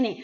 ഇനി